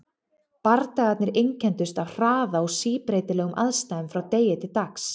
Bardagarnir einkenndust af hraða og síbreytilegum aðstæðum frá degi til dags.